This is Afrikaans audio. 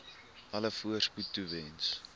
alle voorspoed toewens